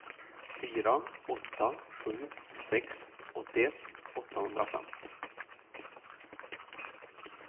fyra åtta sju sex åttioett åttahundrafem